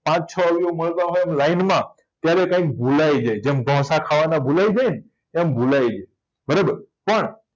છ અવયવ મળતા હોય લાઈનમાં ત્યારે કયક ભૂલાય જાય જેમ ઢોસા ખાવાના ભૂલાય જાય ને એમ ભૂલાય જાય બરાબર પણ